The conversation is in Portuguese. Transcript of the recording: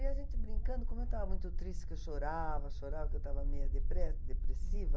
E a gente brincando, como eu estava muito triste, que eu chorava, chorava, porque eu estava meio deprê depressiva.